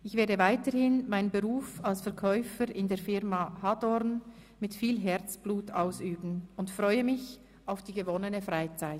Ich werde weiterhin meinen Beruf als Verkäufer in der Firma «Hadorn» mit viel Herzblut ausüben und freue mich auf die gewonnene Freizeit.